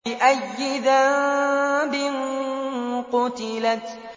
بِأَيِّ ذَنبٍ قُتِلَتْ